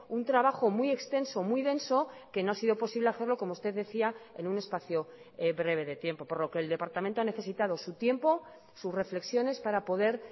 un trabajo muy extenso muy denso que no ha sido posible hacerlo como usted decía en un espacio breve de tiempo por lo que el departamento ha necesitado su tiempo sus reflexiones para poder